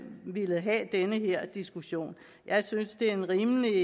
villet have den her diskussion jeg synes det er en rimelig